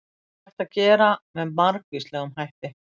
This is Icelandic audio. Það er hægt að gera með margvíslegum hætti.